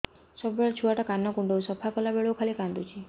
ସବୁବେଳେ ଛୁଆ ଟା କାନ କୁଣ୍ଡଉଚି ସଫା କଲା ବେଳକୁ ଖାଲି କାନ୍ଦୁଚି